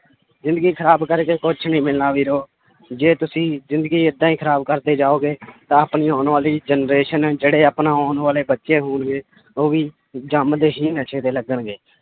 ਜ਼ਿੰਦਗੀ ਖ਼ਰਾਬ ਕਰਕੇ ਕੁਛ ਨੀ ਮਿਲਣਾ ਵੀਰੋ ਜੇ ਤੁਸੀਂ ਜ਼ਿੰਦਗੀ ਏਦਾਂ ਹੀ ਖ਼ਰਾਬ ਕਰਦੇ ਜਾਓਗੇ ਤਾਂ ਆਪਣੀ ਆਉਣ ਵਾਲੀ generation ਜਿਹੜੇ ਆਪਣਾ ਆਉਣ ਵਾਲੇ ਬੱਚੇ ਹੋਣਗੇ ਉਹ ਵੀ ਜੰਮਦੇ ਹੀ ਨਸ਼ੇ ਤੇ ਲੱਗਣਗੇ